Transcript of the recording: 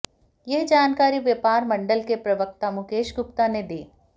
यह जानकारी व्यापार मंडल के प्रवक्ता मुकेश गुप्ता ने दी